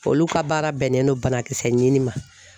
Olu ka baara bɛnnen no banakisɛ ɲini ma.